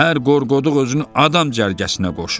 Hər qorqoduq özünü adam cərgəsinə qoşur.